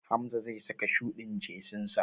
Hamza zai saka shuɗin jesinsa.